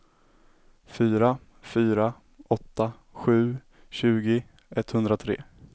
fyra fyra åtta sju tjugo etthundratre